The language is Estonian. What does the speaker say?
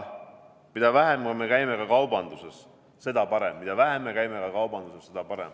Mida vähem me käime ka kaubanduses, seda parem.